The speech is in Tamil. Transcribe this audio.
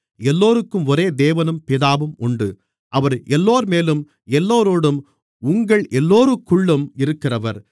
எல்லோருக்கும் ஒரே தேவனும் பிதாவும் உண்டு அவர் எல்லோர்மேலும் எல்லோரோடும் உங்கள் எல்லோருக்குள்ளும் இருக்கிறவர்